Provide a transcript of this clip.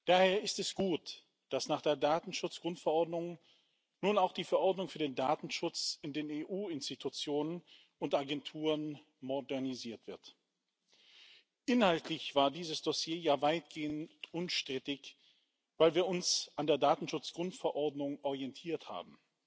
Daher ist es gut, dass nach der Datenschutzgrundverordnung nun auch die Verordnung für den Datenschutz in den EU Institutionen und Agenturen modernisiert wird. Inhaltlich war dieses Dossier ja weitgehend unstrittig, weil wir uns an der Datenschutzgrundverordnung orientiert haben.